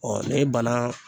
ne banan